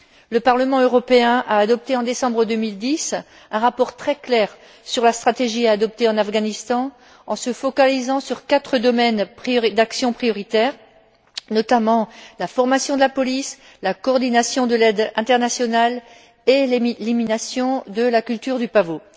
Le Parlement européen a adopté en décembre 2010 un rapport très clair sur la stratégie à adopter en Afghanistan en se focalisant sur quatre domaines d'action prioritaires, notamment la formation de la police, la coordination de l'aide internationale et l'élimination de la culture du pavot.